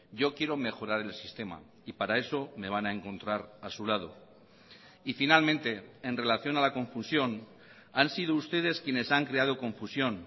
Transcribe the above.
yo quiero mejorar el sistema y para eso me van a encontrar a su lado y finalmente en relación a la confusión han sido ustedes quienes han creado confusión